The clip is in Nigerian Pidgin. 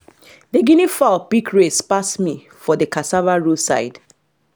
the guinea fowl pick race pass me for the cassava row side